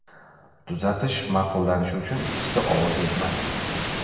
Tuzatish ma’qullanishi uchun ikkita ovoz yetmadi.